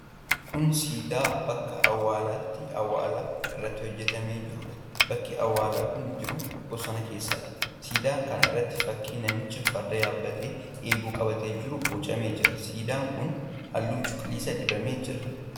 Kun siidaa bakka awwaalaatti awwaala irratti hojjetamee jiruudha, Bakki awwaalli kun jiru bosona keessadha. Siidaa kana irratti fakkiin namicha farda yaabbatee eeboo qabatee jiru bocamee jira. Siidaan kun halluu cuquliisa dibamee jira.